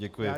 Děkuji.